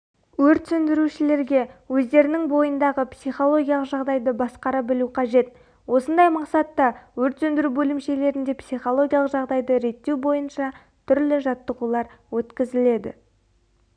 өрт сөндірушілерге өздерінің бойындағы психологиялық жағдайды басқара білу қажет осындай мақсатта өрт сөндіру бөлімшелерінде психологиялық жағдайды реттеу бойынша түрлі жаттығулар өткізіледі